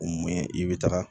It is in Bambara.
i bɛ taga